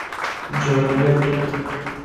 джой я тут